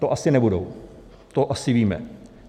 To asi nebudou, to asi víme.